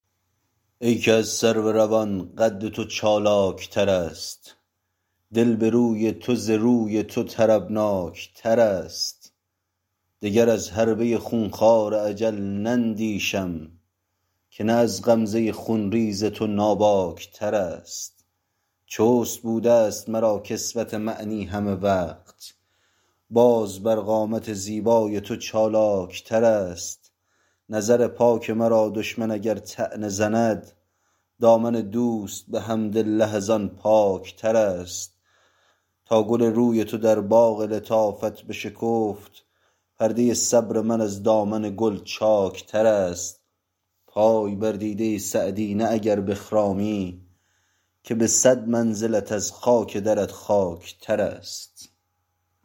ای که از سرو روان قد تو چالاک ترست دل به روی تو ز روی تو طربناک ترست دگر از حربه خون خوار اجل نندیشم که نه از غمزه خون ریز تو ناباک ترست چست بوده ست مرا کسوت معنی همه وقت باز بر قامت زیبای تو چالاک ترست نظر پاک مرا دشمن اگر طعنه زند دامن دوست به حمدالله از آن پاک ترست تا گل روی تو در باغ لطافت بشکفت پرده صبر من از دامن گل چاک ترست پای بر دیده سعدی نه اگر بخرامی که به صد منزلت از خاک درت خاک ترست